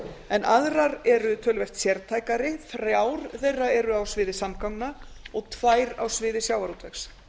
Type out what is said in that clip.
en aðrar eru töluvert sértækari þrjár þeirra eru á sviði samgangna og tvær á sviði sjávarútvegs